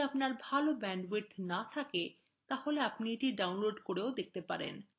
যদি আপনার ভাল bandwidth না থাকে তাহলে আপনি এটি download করে দেখতে পারেন